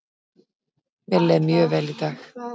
Mér leið mjög vel í dag.